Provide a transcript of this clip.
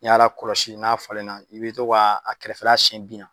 N'i y'a lakɔlɔsi n'a falen na i bɛ to k'a a kɛrɛfɛla siyɛn bin na